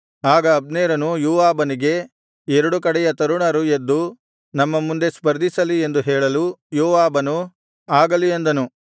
ಆಗ ಅಬ್ನೇರನು ಯೋವಾಬನಿಗೆ ಎರಡು ಕಡೆಯ ತರುಣರು ಎದ್ದು ನಮ್ಮ ಮುಂದೆ ಸ್ಪರ್ಧಿಸಲಿ ಎಂದು ಹೇಳಲು ಯೋವಾಬನು ಆಗಲಿ ಅಂದನು